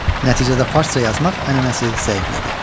Nəticədə farsca yazmaq ənənəsi zəiflədi.